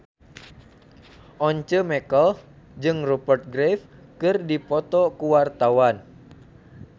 Once Mekel jeung Rupert Graves keur dipoto ku wartawan